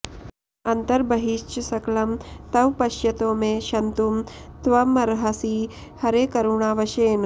अन्तर्बहिश्च सकलं तव पश्यतो मे क्षन्तुं त्वमर्हसि हरे करुणावशेन